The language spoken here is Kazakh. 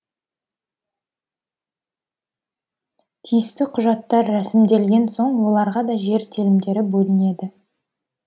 тиісті құжаттар рәсімделген соң оларға да жер телімдері бөлінеді